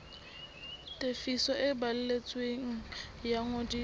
tefiso e balletsweng ya ngodiso